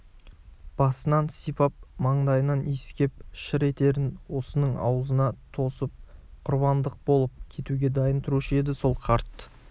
басынан сипап маңдайынан иіскеп шыр етерін осының аузына тосып құрбандық болып кетуге дайын тұрушы еді сол қарт